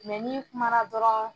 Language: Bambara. Mɛ ni kumana dɔrɔn